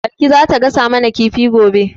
Balki za ta gasa mu na kifi gobe